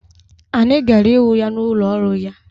Anyị gara ịhụ ya n'ụlọ ọrụ ya.